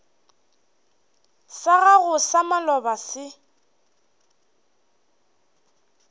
sa gago sa maloba se